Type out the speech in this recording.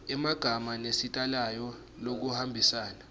emagama nesitayela lokuhambisana